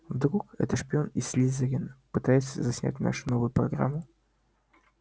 вдруг это шпион из слизерина пытается заснять нашу новую программу